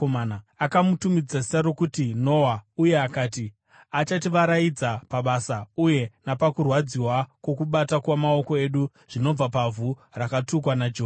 Akamutumidza zita rokuti Noa uye akati, “Achativaraidza pabasa uye napakurwadziwa kwokubata kwamaoko edu zvinobva pavhu rakatukwa naJehovha.”